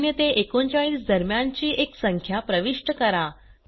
0 ते 39 दरम्यानची एक संख्या प्रविष्ट करा